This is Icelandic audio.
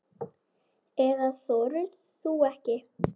Eða þorir þú ekki?